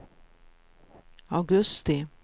augusti